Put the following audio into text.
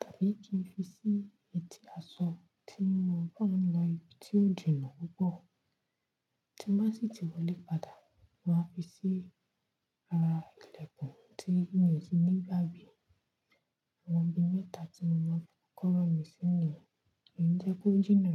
tàbí kí n fi sí etí aṣọ tí mo bá ń lọ ibi tí ó jìnà púpọ̀. Tí mo sì ti wọlé padà, màá fi sí ara ìlẹ̀kùn tí mi ò ti ní gba gbe. Àwọn ibi mẹ́ta tí mo máa ń fi kọ́kọ́rọ́ mi sí ni, kò jẹ́ kó jìnà.